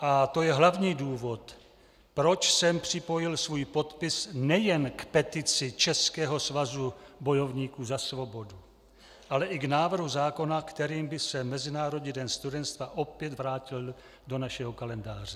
A to je hlavní důvod, proč jsem připojil svůj podpis nejen k petici Českého svazu bojovníků za svobodu, ale i k návrhu zákona, kterým by se Mezinárodní den studenstva opět vrátil do našeho kalendáře.